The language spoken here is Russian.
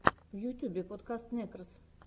в ютюбе подкаст некрос